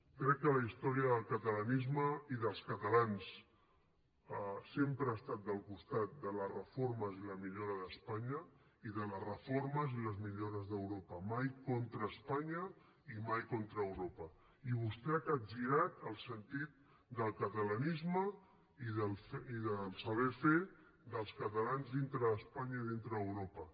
crec que la història del catalanisme i dels catalans sempre ha estat del costat de les reformes i la millora d’espanya i de les reformes i les millores d’europa mai contra espanya i mai contra europa i vostè ha capgirat el sentit del catalanisme i del saber fer dels catalans dintre d’espanya i dintre d’europa